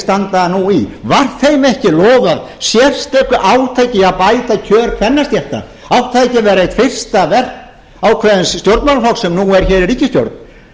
standa nú í var þeim ekki lofað sérstöku átaki í að bæta kjör kvennastétta átti það ekki að vera eitt fyrsta verk ákveðins stjórnmálaflokks sem er núna hér í ríkisstjórn